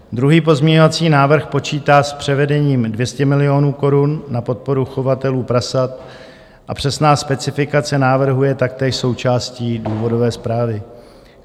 Druhý pozměňovací návrh počítá s převedením 200 milionů korun na podporu chovatelů prasat a přesná specifikace návrhu je taktéž součástí důvodové zprávy.